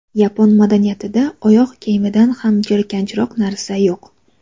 Yapon madaniyatida oyoq kiyimidan ham jirkanchroq narsa yo‘q.